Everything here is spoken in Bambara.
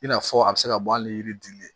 I n'a fɔ a bɛ se ka bɔ hali ni yiri dili ye